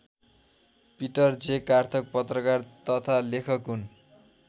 Peter J कार्थक पत्रकार तथा लेखक हुन्।